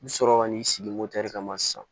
I bi sɔrɔ ka n'i sigi de kama sisan